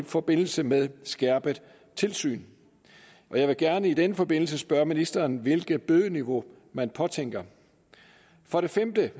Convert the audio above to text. forbindelse med skærpet tilsyn og jeg vil gerne i den forbindelse spørge ministeren om hvilket bødeniveau man påtænker for det femte